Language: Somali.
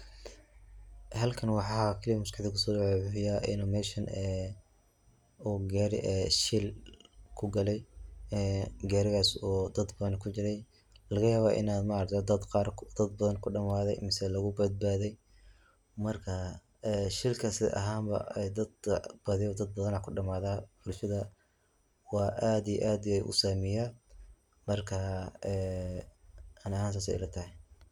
Halkan waxa maskaxdey kuso dhaca wuxuu yahay ini meshan ee uu gaari shil kugaale, gaarigas oo dad badan kujire, lagayaba ini ma aragte dad badan kudhamaade mise lugu badbadey marka shilkaas ahan ba badi dad badan aa kudhamaada, Bulshada aad aad iyo aad wu usaameya marka ee ani ahan sas ay ila tahay